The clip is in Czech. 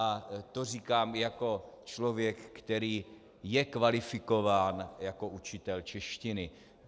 A to říkám jako člověk, který je kvalifikován jako učitel češtiny.